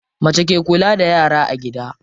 Mace ke kula da yara a gida.